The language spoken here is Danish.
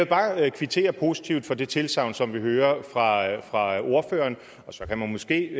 bare kvittere positivt for det tilsagn som vi hører fra ordføreren og så kan man måske